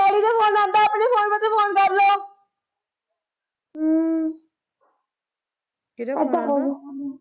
ਕੀਹਦਾ phone ਆਉਂਦਾ?